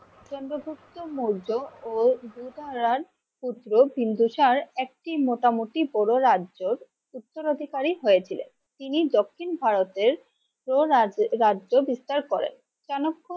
চন্দ্রগুপ্ত মৌর্য ও পুত্র বিন্দুসার একটি মোটামুটি পুরো রাজ্যের উত্তরাধিকারী হয়েছিলেন। তিনি দক্ষিণ ভারতের কোরাজ্ রাজ্য বিস্তার করেন চাণক্য